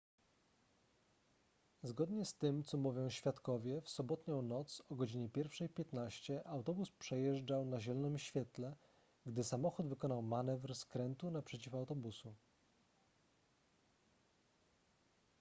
zgodnie z tym co mówią świadkowie w sobotnią noc o godzinie 1:15 autobus przejeżdżał na zielonym świetle gdy samochód wykonał manewr skrętu naprzeciw autobusu